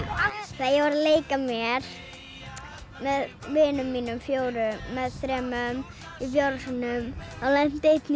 þegar ég var að leika mér með vinum mínum fjórum í fjárhúsunum þá lenti einn í